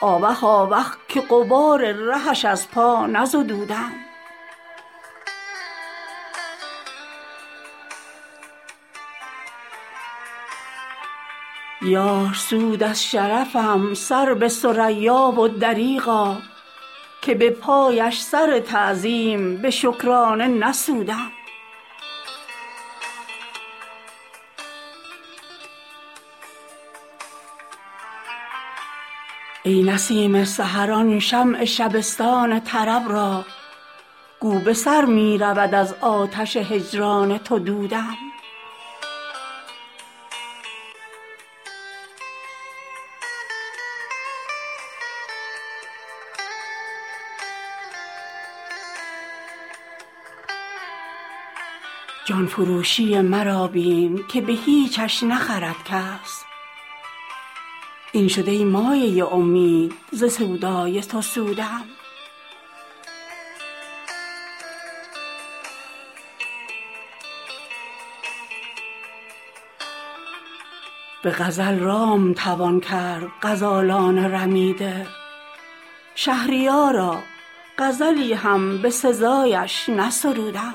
آوخ آوخ که غبار رهش از پا نزدودم یار سود از شرفم سر به ثریا و دریغا که به پایش سر تعظیم به شکرانه نسودم ای نسیم سحر آن شمع شبستان طرب را گو به سر می رود از آتش هجران تو دودم جان فروشی مرا بین که به هیچش نخرد کس این شد ای مایه امید ز سودای تو سودم به غزل رام توان کرد غزالان رمیده شهریارا غزلی هم به سزایش نسرودم